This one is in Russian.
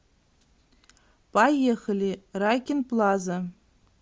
поехали райкин плаза